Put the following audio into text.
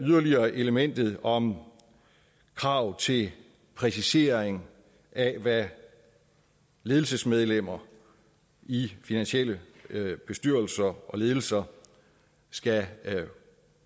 yderligere elementet om krav til præcisering af hvad ledelsesmedlemmer i finansielle bestyrelser og ledelser skal